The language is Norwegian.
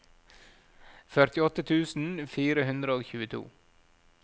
førtiåtte tusen fire hundre og tjueto